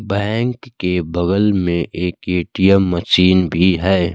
Bank के बगल में एक ए_टी_एम मशीन भी है।